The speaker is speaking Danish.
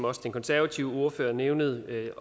også den konservative ordfører nævnede